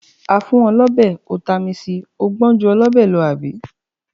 A fún ọ lọ́bẹ, ó tami sì, ó gbọn ju ọlọ́bẹ̀ lọ, àbí?